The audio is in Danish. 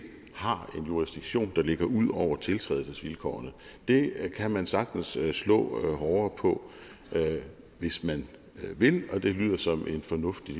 har en jurisdiktion der ligger ud over tiltrædelsesvilkårene det kan man sagtens slå hårdere på hvis man vil og det lyder som en fornuftig